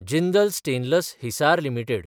Jindal stainless (हिसार) limited